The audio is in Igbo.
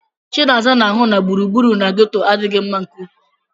Chinaza na-ahụ na gburugburu na ghetto adịghị mma nke ukwuu.